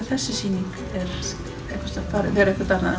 þessi sýning fer eitthvert annað